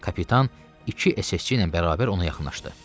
Kapitan iki SS-çi ilə bərabər ona yaxınlaşdı.